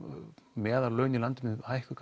meðallaunin í landinu hækkuðu